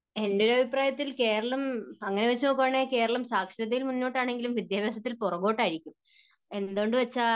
എൻറെ ഒരു അഭിപ്രായത്തിൽ കേരളം അങ്ങനെ വച്ചു നോക്കുകയാണെങ്കിൽ കേരളം സാക്ഷരതയിൽ മുന്നോട്ട് ആണെങ്കിലും വിദ്യാഭ്യാസത്തിൽ പുറകോട്ട് ആയിരിക്കും എന്തെന്നുവെച്ചാൽ